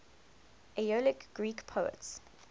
aeolic greek poets